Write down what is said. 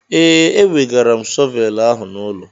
Ee, ewegara m shọvelụ ahụ n'ụlọ.